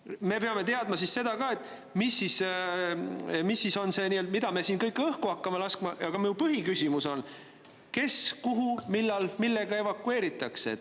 Me peame teadma ka seda, mida me siin kõik õhku hakkame laskma, aga mu põhiküsimus on see: kes, kuhu, millal, millega evakueeritakse?